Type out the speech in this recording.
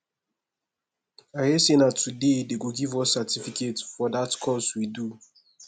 i hear say na today dey go give us certificate for dat course we do